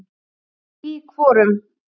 Í hvorum?